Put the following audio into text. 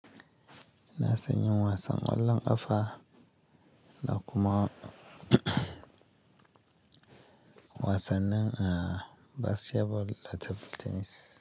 Ina son yin wasan ƙwallon ƙafa da kuma wasannin, ah, basketball da table tennis.